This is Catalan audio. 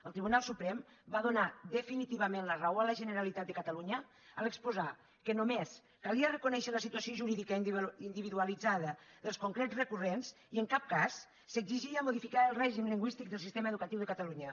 el tribunal suprem va donar definitivament la raó a la generalitat de catalunya a l’exposar que només calia reconèixer la situació jurídica individualitzada dels concrets recurrents i en cap cas s’exigia modificar el règim lingüístic del sistema educatiu de catalunya